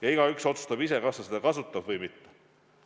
Aga igaüks otsustab ise, kas ta seda kasutab või mitte.